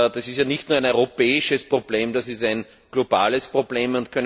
Das ist ja nicht nur ein europäisches Problem, das ist ein globales Problem.